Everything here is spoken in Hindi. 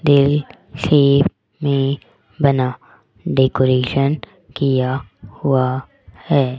में बना डेकोरेशन किया हुआ है।